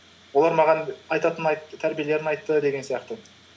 олар маған тәрбиелерін айтты деген сияқты